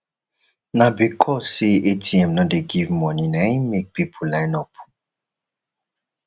na because sey atm no dey give moni na im make pipu line up